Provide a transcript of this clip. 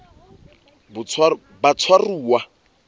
batshwaruwa